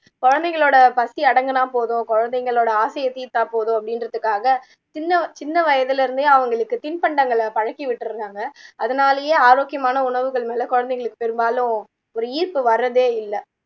குழந்தைங்களோட பசி அடங்குனா போதும் குழந்தைங்களோட ஆசையை தீத்தா போதும் அப்படின்றதுக்காக சின்ன சின்ன வயதுல இருந்தே திண்பண்டங்களை பழக்கி விட்டுருறாங்க அதனாலேயே ஆரோக்கியமான உணவுகள் மேல குழந்தைங்களுக்கு பெரும்பாலும் ஒரு ஈர்ப்பு வர்றதே இல்ல